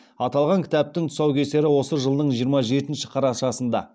аталған кітаптың тусаукесері осы жылының жиырма жетінші қарашасында